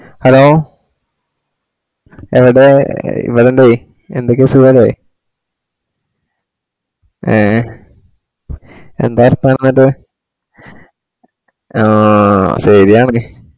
Hello എവടെ ഇവിടുണ്ടേയ് എന്തെക്കെ സുഖല്ലേ ഏ എന്തായി പറഞ്ഞത്‌ ആ ശെരിയാണ്